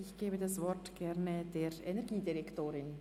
Ich gebe das Wort gerne der Energiedirektorin.